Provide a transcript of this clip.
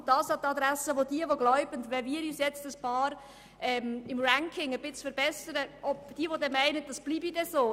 An die Adresse jener, die glauben, es bleibe so, wenn wir uns im Ranking ein bisschen verbessern: